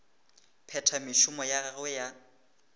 phetha mešomo ya gagwe ya